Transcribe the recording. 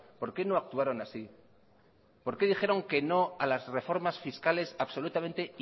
por qué no actuaron así por qué dijeron que no a las reformas fiscales absolutamente